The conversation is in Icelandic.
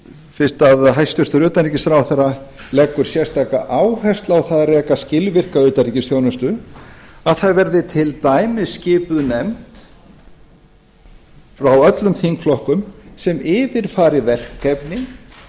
fyrst að hæstvirtur utanríkisráðherra leggur sérstaka áherslu á að reka skilvirka utanríkisþjónustu að það verði til dæmis skipuð nefnd frá öllum þingflokkum sem yfirfari verkefnin